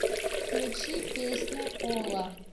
включи песня ола